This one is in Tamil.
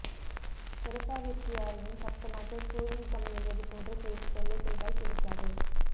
தெரேசாவிற்கு யாரேனும் சப்தமாக சூயிங் கம் மெல்வது போன்று செய்து தொல்லை செய்தால் பிடிக்காது